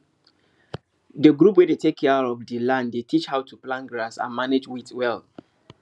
the group wey dey take care of the land dey teach how to plant grass and manage weed well